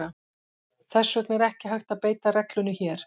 Þess vegna er ekki hægt að beita reglunni hér.